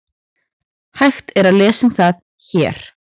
Hægt er að lesa um það HÉR.